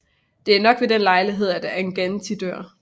Det er nok ved den lejlighed at Angantyr dør